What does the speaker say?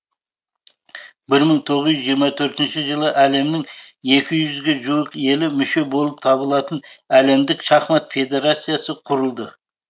бір мың тоғыз жүз жиырма төртінші жылы әлемнің екі жүзге жуық елі мүше болып табылатын әлемдік шахмат федерациясы құрылды